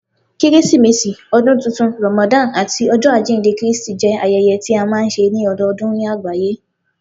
Keresimesi, Ọdun Tuntun, Ramadan, ati Ọjọ ajinde Kristi jẹ ayẹyẹ tí a máa ń ṣe ní ọdọọdún ní àgbáyé